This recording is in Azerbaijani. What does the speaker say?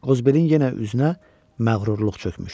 Ozberin yenə üzünə məğrurluq çökmüşdü.